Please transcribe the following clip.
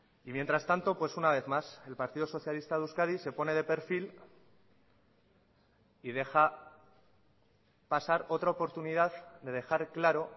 y mientras tanto pues una vez más el partido socialista de euskadi se pone de perfil y deja pasar otra oportunidad de dejar claro